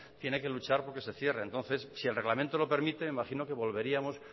tiene que luchar porque se cierre entonces si el reglamento lo permite imagino que volveríamos